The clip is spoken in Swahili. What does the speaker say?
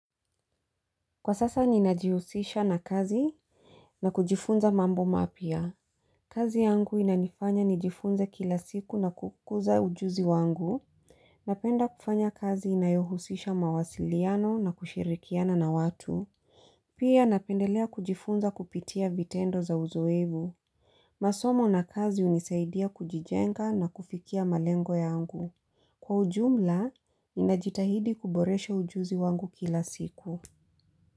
Kwa sasa ninajihusisha na kazi na kujifunza mambo mapya kazi yangu inanifanya nijifunze kila siku na kukuza ujuzi wangu. Napenda kufanya kazi inayohusisha mawasiliano na kushirikiana na watu. Pia napendelea kujifunza kupitia vitendo za uzoevu. Masomo na kazi unisaidia kujijenga na kufikia malengo yangu. Kwa ujumla, ninajitahidi kuboresha ujuzi wangu kila siku.